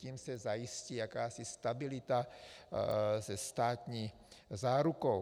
Tím se zajistí jakási stabilita se státní zárukou.